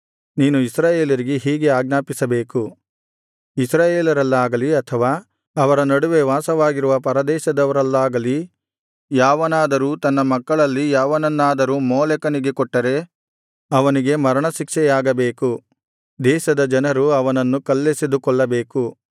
ನೀನು ಇಸ್ರಾಯೇಲರಿಗೆ ಹೀಗೆ ಆಜ್ಞಾಪಿಸಬೇಕು ಇಸ್ರಾಯೇಲರಲ್ಲಾಗಲಿ ಅಥವಾ ಅವರ ನಡುವೆ ವಾಸವಾಗಿರುವ ಪರದೇಶದವರಲ್ಲಾಗಲಿ ಯಾವನಾದರೂ ತನ್ನ ಮಕ್ಕಳಲ್ಲಿ ಯಾರನ್ನಾದರೂ ಮೋಲೆಕನಿಗೆ ಕೊಟ್ಟರೆ ಅವನಿಗೆ ಮರಣಶಿಕ್ಷೆಯಾಗಬೇಕು ದೇಶದ ಜನರು ಅವನನ್ನು ಕಲ್ಲೆಸೆದು ಕೊಲ್ಲಬೇಕು